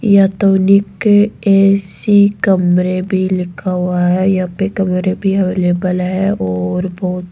AC कमरे भी लिखा हुआ है यहां पे कमरे भी अवेलेबल है और बहोत --